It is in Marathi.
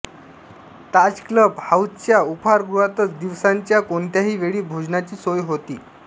ताज क्लब हाऊसच्या उपहारगृहातच दिवसाच्या कोणत्याही वेळी भोजनाची सोय होते